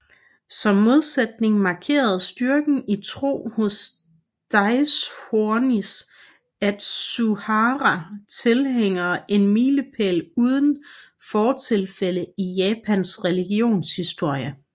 Som modsætning markerede styrken i tro hos Daishonins Atsuhara tilhængere en milepæl uden fortilfælde i Japans religionshistorie